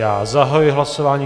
Já zahajuji hlasování.